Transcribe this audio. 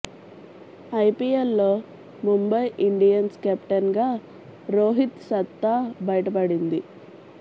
IPL లో Mumbai Indians captain గా రోహిత్ సత్తా బయటపడింది